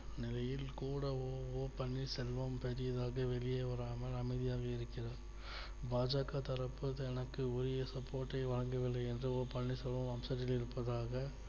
நிலையில் கூட ஓ பன்னீர்செல்வம் பெடியாக வெளியே வராமல் அமைதியாக இருக்கிறார். பா ஜ க தரப்பில் எனக்கு உரிய support ஐ வாங்கவில்லை என்று ஓ பன்னீர்செல்வம் வம்சத்தில் நிற்பதாக